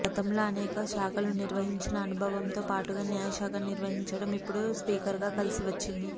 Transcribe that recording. గతంలో అనేక శాఖలు నిర్వహించిన అనుభవంతో పాటుగా న్యాయ శాఖ నిర్వహించటం ఇప్పుడు స్పీకర్గా కలిసి వచ్చింది